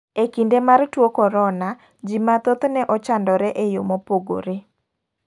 E kinde mar tuo korona, ji mathoth ne ochandore e yore mopogore.